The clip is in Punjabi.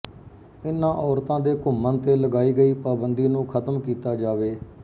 ਇਨ੍ਹਾਂ ਔਰਤਾਂ ਦੇ ਘੁੰਮਣ ਤੇ ਲਗਾਈ ਗਈ ਪਾਬੰਧੀ ਨੂੰ ਖ਼ਤਮ ਕੀਤਾ ਜਾਵੇ